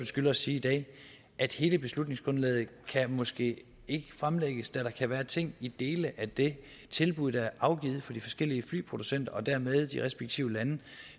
skylder at sige i dag at hele beslutningsgrundlaget måske ikke kan fremlægges da der kan være ting i dele af det tilbud der er afgivet fra de forskellige flyproducenter og dermed de respektive lande